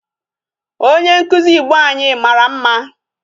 Onye nkụzi Igbo anyị mara mma.